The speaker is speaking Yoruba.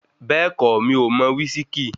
Bẹ́ẹ̀kọ́, mi ò mo wísíkí.